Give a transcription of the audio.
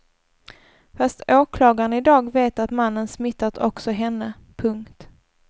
Fast åklagaren i dag vet att mannen smittat också henne. punkt